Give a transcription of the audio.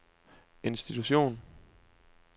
institution